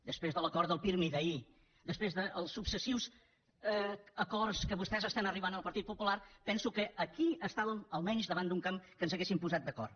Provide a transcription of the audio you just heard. després de l’acord del pirmi d’ahir després dels successius acords a què vostès estan arribant amb el partit popular penso que aquí estàvem almenys davant d’un camp en què ens hauríem posat d’acord